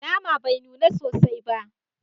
Nama bai nuna sosai ba